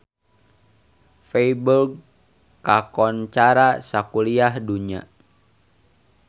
Feiburg kakoncara sakuliah dunya